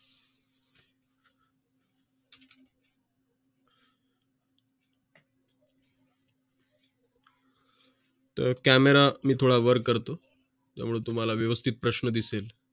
तर camera मी थोडा वर करतो त्या मूळ तुम्हाला व्यवस्थित प्रश्न दिसेल